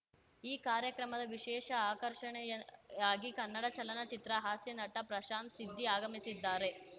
ಈ ಕಾರ್ಯಕ್ರಮದ ವಿಶೇಷ ಆಕರ್ಷಣೆಯಾಗಿ ಕನ್ನಡ ಚಲನಚಿತ್ರ ಹಾಸ್ಯನಟ ಪ್ರಶಾಂತ್‌ ಸಿದ್ಧಿ ಆಗಮಿಸಿದ್ದಾರೆ